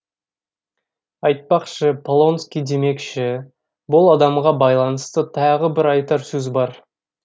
айтпақшы полонский демекші бұл адамға байланысты тағы бір айтар сөз бар